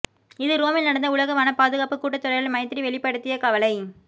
இது ரோமில் நடந்த உலக வனப் பாதுகாப்பு கூட்டத்தொடரில் மைத்திரி வெளிப்படுத்திய கவலை